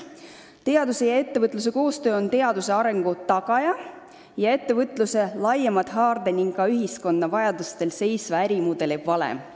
Teaduse ja ettevõtluse koostöö on teaduse arengu tagaja ning ettevõtluse laiema haarde ja ka ühiskonna vajadusi arvestava ärimudeli valem.